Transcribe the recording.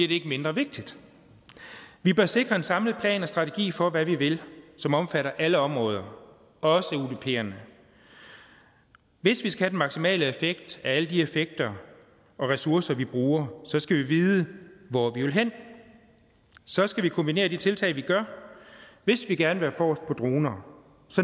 det ikke mindre vigtigt vi bør sikre en samlet plan og strategi for hvad vi vil som omfatter alle områder også udperne hvis vi skal have den maksimale effekt af alle de effekter og ressourcer vi bruger skal vi vide hvor vi vil hen så skal vi kombinere de tiltag vi gør hvis vi gerne vil være forrest på droner